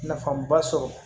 Nafaba sɔrɔ